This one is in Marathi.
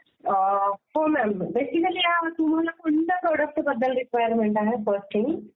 हो मॅम. बेसिकली तुंहाला कुठल्या प्रॉडक्टबद्दल रिक्वायरमेंट आहे फ़र्स्टली?